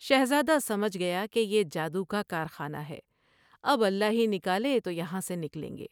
شہزادہ سمجھ گیا کہ یہ جادو کا کارخانہ ہے ، اب اللہ ہی نکالے تو یہاں سے نکلیں گے ۔